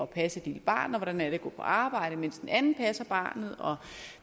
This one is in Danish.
passe et lille barn og hvordan det er at gå på arbejde mens den anden passer barnet